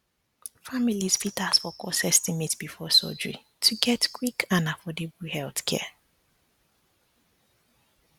families fit ask for cost estimate before surgery to get quick and affordable healthcare